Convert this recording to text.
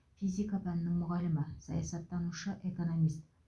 физика пәнінің мұғалімі саясаттанушы экономист